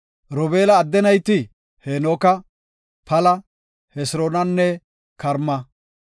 Robeela adde nayti Hanooka, Pala, Hesiroonanne Karma.